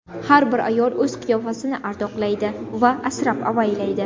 Har bir ayol o‘z qiyofasini ardoqlaydi va asrab-avaylaydi.